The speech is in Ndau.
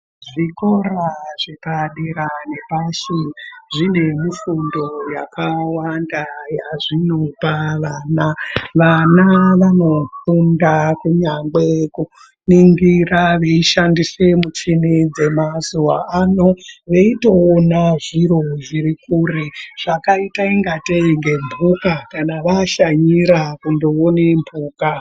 Zvikora zvepa dera nepashi zvine mufundo yakawanda yazvinopa vana vana vano funda kunyangwe kuningira vei shandisa muchini dzema zuva ano veitoona zviro zviri kure zvakaita kungete nge mbuka kana vashanyira kunoona mbuka.